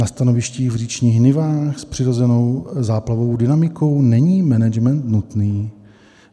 Na stanovištích v říčních nivách s přirozenou záplavovou dynamikou není management nutný.